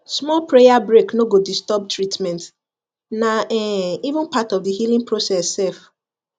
small prayer break no go disturb treatment na um even part of the healing process sef